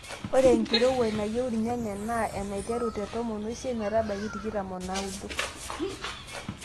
Ore enkirowuaj nayieu irnyanya naa enaiteru te tomon oisiet metabaiki tikitam o naaudo.